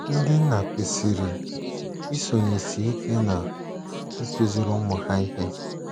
Ndị nna kwesịrị isonyesị ike n’ịkụziri ụmụ ha ihe